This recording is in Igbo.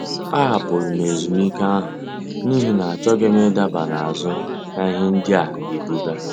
A hapụrụ m ezumike ahụ n'ihi na achọghị m ịdaba n'azụ na ihe ndị a ga-ebuga.